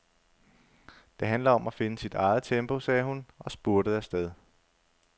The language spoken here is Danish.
Det handler om at finde sit eget tempo, sagde hun og spurtede afsted.